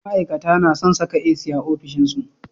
ma'ikata nason Saka AC a ofishin su